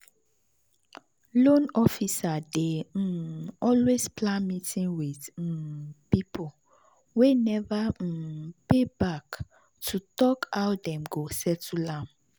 loan officer dey um always plan meeting with um people wey never um pay back to talk how dem go settle am.